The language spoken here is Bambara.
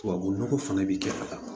Tubabu nɔgɔ fana bɛ kɛ ka taa